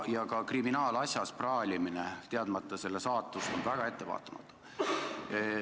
Ka kriminaalasja teemal praalimine, teadmata selle saatust, on väga ettevaatamatu.